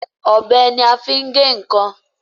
Ọ̀bẹ ní a fín gè nkán